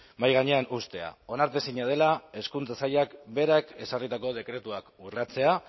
mahai gainean uztea onartezina dela hezkuntza sailak berak ezarritako dekretuak urratzea